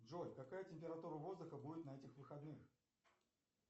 джой какая температура воздуха будет на этих выходных